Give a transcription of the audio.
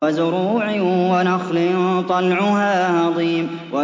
وَزُرُوعٍ وَنَخْلٍ طَلْعُهَا هَضِيمٌ